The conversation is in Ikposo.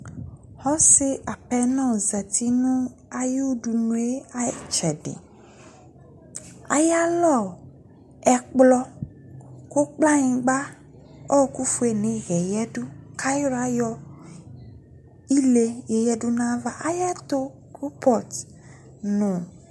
Ɔse apenɔ zati no aye dunue aye tsɛdeAyalɔ, ɛkplɔ ko kɔlanyingba, ɔkufie no eyɛ yadu kayila yɔ ile ye yadu nava, Ayɛto Kropɔt no